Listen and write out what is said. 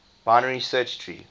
binary search tree